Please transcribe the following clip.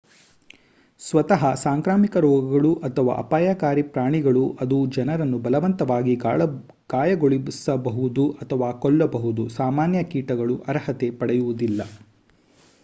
ಸ್ವತಃ ಸಾಂಕ್ರಾಮಿಕ ರೋಗಗಳು ,ಅಥವಾ ಅಪಾಯಕಾರಿ ಪ್ರಾಣಿಗಳು ಅದು ಜನರನ್ನು ಬಲವಂತವಾಗಿ ಗಾಯಗೊಳಿಸಬಹುದು ಅಥವಾ ಕೊಲ್ಲಬಹುದು ಸಾಮಾನ್ಯ ಕೀಟಗಳಾಗಿ ಅರ್ಹತೆ ಪಡೆಯುವುದಿಲ್ಲ